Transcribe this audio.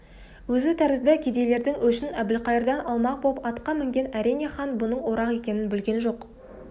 өзі тәрізді кедейлердің өшін әбілқайырдан алмақ боп атқа мінген әрине хан бұның орақ екенін білген жоқ